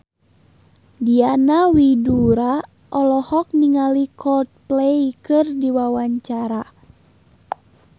Diana Widoera olohok ningali Coldplay keur diwawancara